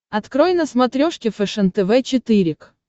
открой на смотрешке фэшен тв четыре к